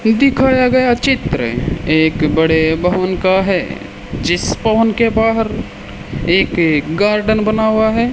दिखाया गया चित्र एक बड़े भवन का है जिस भवन के बाहर एक गार्डन बना हुआ है।